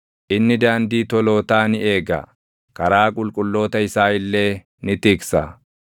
inni daandii tolootaa ni eega; karaa qulqulloota isaa illee ni tiksa.